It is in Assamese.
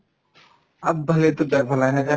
aap ভালে to jog bhala সেনেকা